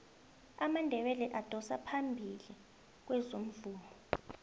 amandebele adosa phambili kwezomvumo